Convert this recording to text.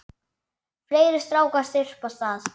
Fleiri strákar þyrpast að.